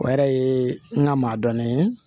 O yɛrɛ ye n ka maa dɔn ye